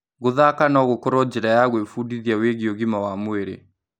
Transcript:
Gũthaka no gũkorwo njĩra ya gwĩbundithia wĩgiĩ ũgima wa mwĩrĩ.